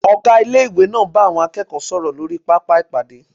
Ọgá Ilé-ìwé náà ń bá àwọn akẹ́kọ̀ọ́ náà sọ̀rọ̀ lórí pápá ìpàdé